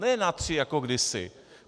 Ne na tři jako kdysi.